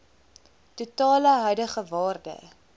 totale huidige waarde